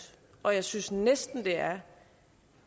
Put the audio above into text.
og jeg synes næsten det er